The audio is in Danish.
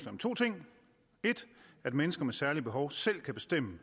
om to ting 1 at mennesker med særlige behov selv kan bestemme